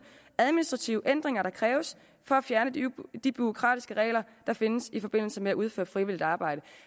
administrative ændringer der kræves for at fjerne de de bureaukratiske regler der findes i forbindelse med at udføre frivilligt arbejde